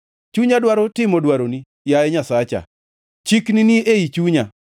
Chunya dwaro timo dwaroni, yaye Nyasacha; chikni ni ei chunya.”